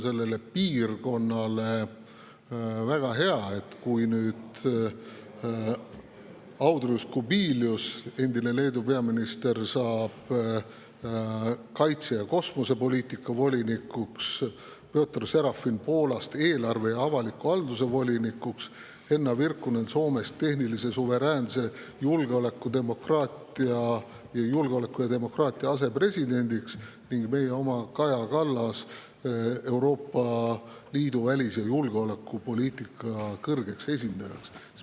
Meie piirkonnale on väga hea, et nüüd saab Leedu endine peaminister Andrius Kubilius kaitse- ja kosmosepoliitika volinikuks; Piotr Serafin Poolast eelarve ja avaliku halduse volinikuks; Henna Virkkunen Soomest tehnilise suveräänsuse, julgeoleku ja demokraatia asepresidendiks ning meie oma Kaja Kallas Euroopa Liidu välis‑ ja julgeolekupoliitika kõrgeks esindajaks.